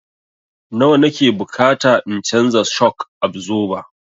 Nawa na ke bukata in canza shok absoba?